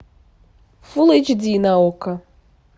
фулл эйч ди на окко